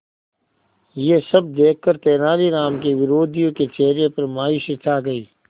यह सब देखकर तेनालीराम के विरोधियों के चेहरे पर मायूसी छा गई